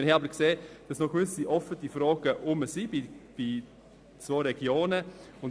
Wir haben gesehen, dass bei zwei Regionen gewisse Fragen offen sind.